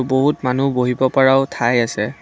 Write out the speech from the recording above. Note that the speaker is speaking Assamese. বহুত মানুহ বহিব পাৰাও ঠাই আছে।